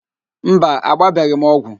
Mba, agbabeghị m ọgwụ